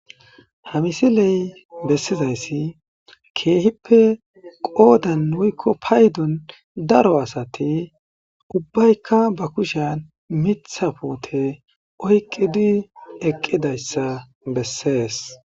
ha misiley bessizayssi keehippe qoodan woykko paydon daro asati ubbaykka ba kushan mitha poote oyqqidi eqqidayssa bessees